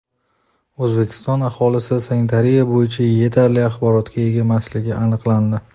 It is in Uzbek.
O‘zbekiston aholisi sanitariya bo‘yicha yetarli axborotga ega emasligi aniqlandi.